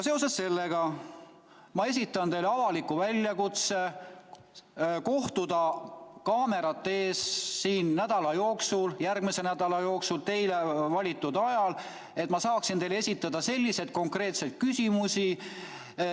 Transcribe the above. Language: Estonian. Seoses sellega esitan ma teile avaliku väljakutse kohtuda siin kaamerate ees järgmise nädala jooksul teie valitud ajal, et ma saaksin teile esitada konkreetseid küsimusi.